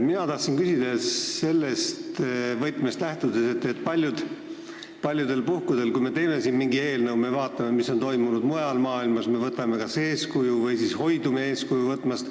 Mina tahan küsida sellest võtmest lähtudes, et paljudel puhkudel, kui me teeme siin mingit eelnõu, me vaatame, mis on toimunud mujal maailmas – me kas võtame eeskuju või siis hoidume eeskuju võtmast.